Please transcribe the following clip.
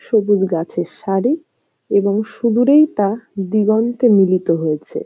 সবুজ গাছের সারি এবং সুদূরেই তা দিগন্তে মিলিত হয়েছে।